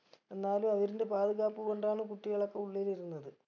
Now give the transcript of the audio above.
എന്നാലും അവരിന്റെ പാത് കാപ്പ് കൊണ്ടാണ് കുട്ടികളൊക്കെ ഉള്ളില് ഇരുന്നത്